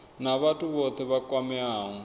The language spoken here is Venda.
na vhathu vhothe vha kwameaho